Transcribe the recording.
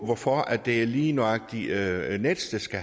hvorfor det lige nøjagtig er er nets der skal